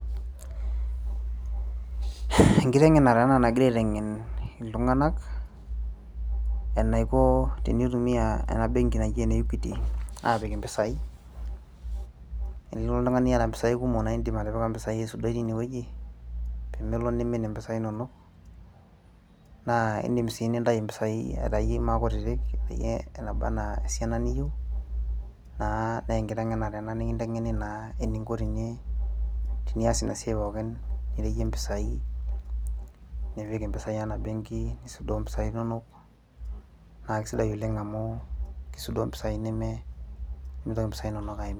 enkiteng'enare ena nagirae aiteng'en iltung'anak enaiko tenitumia ena benki naji ene equity apik impisai enilo oltung'ani iyata impisai kumok naa indim atipika impisai aisudoi tinewueji pemelo nimin impisai inonok naa indim sii nintai impisai aitai maa kutitik peyie enaba anaa esiana niyieu naa nenkiteng'enare ena nikinteng'eni naa eninko teni, tinias ina siai pookin nireyie impisai nipik impisai ena benki nisudoo impisai inonok naa kisidai oleng amu kisudoo impisai nemitoki impisai inonok aimin.